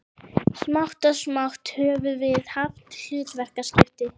Smátt og smátt höfum við haft hlutverkaskipti.